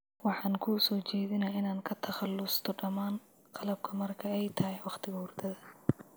Waxaan kuu soo jeedinayaa inaad ka takhalusto dhammaan qalabka marka ay tahay wakhtiga hurdada.